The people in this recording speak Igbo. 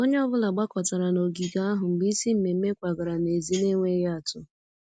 Onye ọ bụla gbakọtara n'ogige ahụ mgbe isi mmemmé kwagara n'èzí n'enweghị atụ